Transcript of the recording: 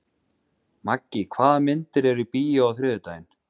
Maggi, hvaða myndir eru í bíó á þriðjudaginn?